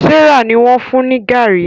Serah ní wón fún ní garri.